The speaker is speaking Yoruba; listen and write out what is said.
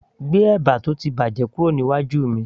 gbé ẹ̀bà tó ti bàjẹ́ kúrò níwájú mi